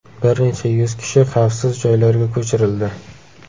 Bir necha yuz kishi xavfsiz joylarga ko‘chirildi.